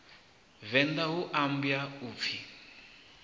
venḓa hu ambwa u pfi